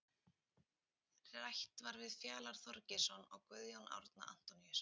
Rætt var við Fjalar Þorgeirsson og Guðjón Árni Antoníusson.